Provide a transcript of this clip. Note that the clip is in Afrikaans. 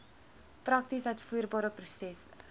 prakties uitvoerbare prosesse